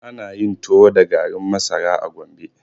Ana yin tuwo da garin masara a Gombe.